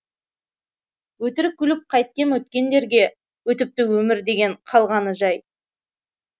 өтірік күліп қайтем өткендерге өтіпті өмір деген қалғаны жай